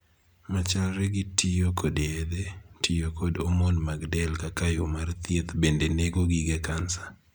Machalre gi tiyo kod yedhe, tiyo kod omon mag del kaka yoo mar thieth bende nego gige kansa.